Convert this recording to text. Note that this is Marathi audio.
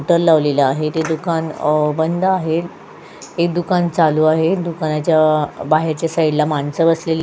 शटर लावलेला आहे ते दुकान बंद आहे एक दुकान चालू आहे दुकानाच्या बाहेरच्या साईडला माणसं बसलेली --